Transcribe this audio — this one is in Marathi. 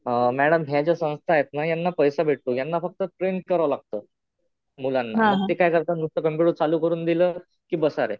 मॅडम ह्या ज्या संस्था आहेत ना, यांना पैसे भेटतो. यांना फक्त ट्रेन करावं लागतं मुलांना. पण ते काय करतात नुसतं कम्प्युटर चालू करून दिलं कि बसा रे.